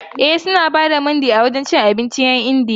E, suna ba da Mandi a gidan cin abincin 'yan Indiyan.